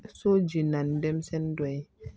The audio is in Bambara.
So jeninna ni denmisɛnnin dɔ ye